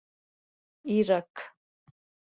Írak